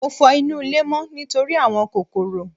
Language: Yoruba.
Mo fọ inú ilé mọ́ nítorí àwọn kòkòrò.